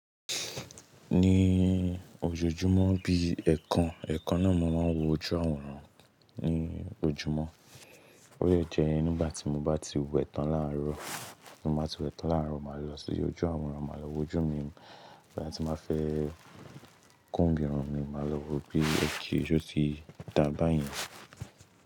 Ni ojoojúmọ́ bí i ẹ̀ẹ̀kan, ẹ̀ẹ̀kan náà mo máa ń wo ojú àwòrán ní ojúmọ́. Ó yẹ jẹ ín gbà tí mo bá ti wẹ̀ tán láàárọ̀, tí mo bá ti wẹ̀ tán láàárọ̀, màá lọ sí ojú àwòrán, màá lọ wo ojú mi. Bí mo bá ti máa fẹ́ kúnmi irun mi, màá lọ wo bí i igi ijó ti dà bá yẹn.